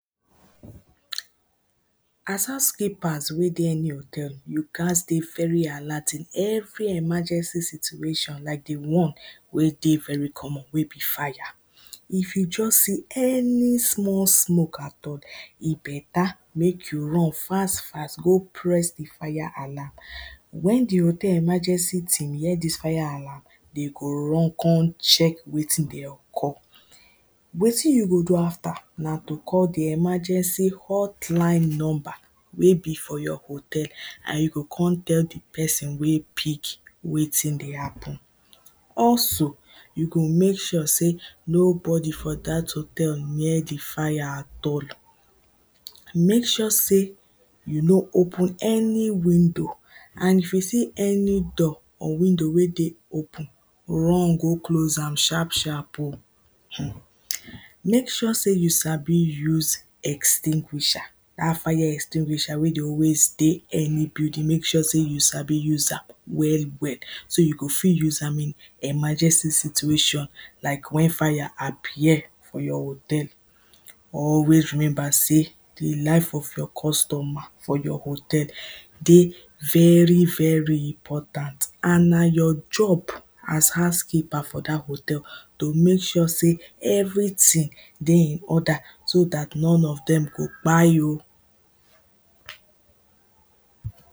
as house keepers wey dey any hotel you gats dey very alert in every emergency situation like the one wey dey very common wey be fire if you just see any small smoke at all, he better mek you run fast fast go press the fire alam when the hotel emergency team hear this fire alarm dey go run con check wetin dey occur wetin you go do after na to call the emergency hotline number wey be for your hotel, and you go con tell the person wey pick wetin dey happen. also, you go mek sure sey, nobody for dat hotel near the fire at all. mek sure sey, you no open any window, and if you see any door, or window wey dey open run go close am sharp sharp o. hmm mek sure sey you sabi use extinguisher dat fire extinguisher wey dey always dey, any building, mek sure sey you sabi use am, well well, so you go fi use am in emergency situation like when fire appear, for your hotel, always remember sey, the life of your customer, for your hotel, dey very very important. and na your job, as house keeper for that hotel to mek sure sey, everything, dey in order so that non of dem go kpai o.